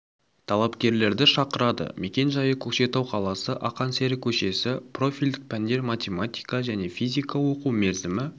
талапкерлерді шақырады мекен-жайы көкшетау қаласы ақан сері көшесі профильдік пәндер математика және физика оқу мерзімі